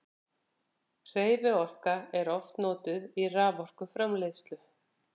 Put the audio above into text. hreyfiorka er oft notuð í raforkuframleiðslu